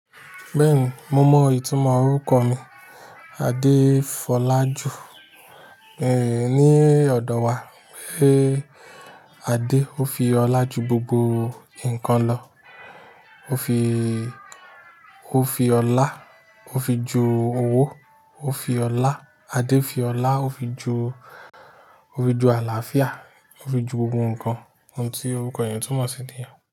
Bẹ́ẹ̀ni, mo mọ ìtumọ̀ orúkọ mi. Adefolaju, eeh, ní ọ̀dọ̀ wa, pé Ade ó fi ọlá ju gbogbo nǹkan lọ. Ó fi, ó fi ọlá, ó fi ju owó, ó fi ọlá, Ade fi ọlá, ó fi ju, ó fi ju àlàáfíà, ó fi ju gbogbo nǹkan, ohun tí orúkọ èèyàn túmọ̀ sí níya.